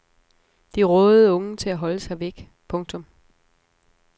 De rådede unge til at holde sig væk. punktum